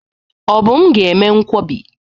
Obum ga eme nkwobi.